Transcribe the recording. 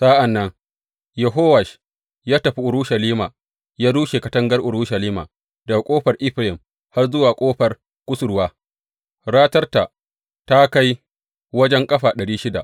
Sa’an nan Yehowash ya tafi Urushalima ya rushe katangar Urushalima daga Ƙofar Efraim har zuwa Ƙofar Kusurwa, ratarta ta kai wajen ƙafa ɗari shida.